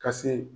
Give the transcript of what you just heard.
Ka se